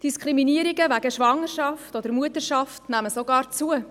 Diskriminierungen wegen Schwangerschaft oder Mutterschaft nehmen sogar zu.